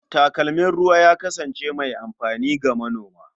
Takalmin ruwa ya kasance mai amfani ga manona.